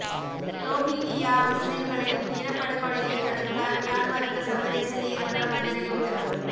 Rohingya முஸ்லிம்களின் இனப்படுகொலையை தடுக்க மியான்மருக்கு சர்வதேச நீதிமன்றம் அதிரடி உத்தரவு